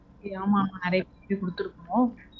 Okay. ஆமா ஆமா, நிறைய பேர் கிட்ட குடுத்துருக்கோம்.